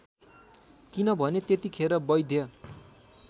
किनभने त्यतिखेर वैद्य